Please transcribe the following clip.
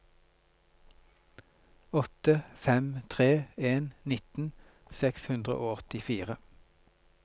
åtte fem tre en nitten seks hundre og åttifire